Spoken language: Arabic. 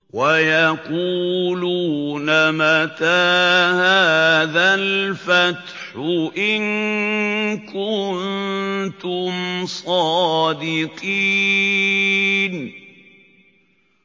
وَيَقُولُونَ مَتَىٰ هَٰذَا الْفَتْحُ إِن كُنتُمْ صَادِقِينَ